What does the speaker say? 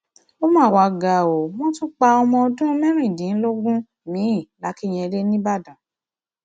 ó mà wá ga o wọn tún pa ọmọ ọdún mẹrìndínlógún miín làkìnyẹlé nìbàdàn